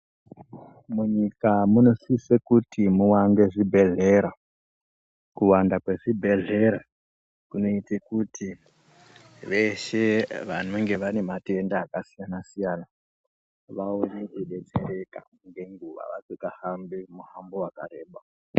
Munyika munosise kuti muwande zvibhedhlera kuwanda kwezvibhedhlera kunoite kuti veshe vanenga vane matenda akasiyana siyana vaone kudetsereka Ngenguwa vasikahambi muhambo wakareba .